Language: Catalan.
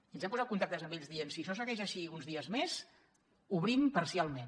i ens vam posar en contacte amb ells i vam dir si això segueix així uns dies més obrim parcialment